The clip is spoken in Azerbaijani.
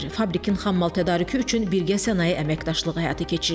Fabrikin xammal tədarükü üçün birgə sənaye əməkdaşlığı həyata keçirilir.